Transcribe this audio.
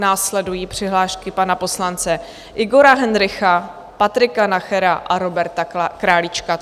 Následují přihlášky pana poslance Igora Hendrycha, Patrika Nachera a Roberta Králíčka.